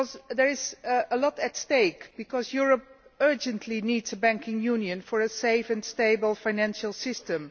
There is a lot at stake, because Europe urgently needs a banking union to have a safe and stable financial system.